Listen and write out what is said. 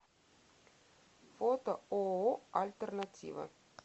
фото ооо альтернатива